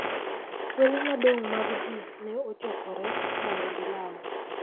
Kwedhe madongo mag ji ne ochokore mondo gilam